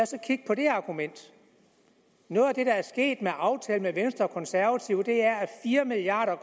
så kigge på det argument noget af det der er sket med aftalen med venstre og konservative er at fire milliard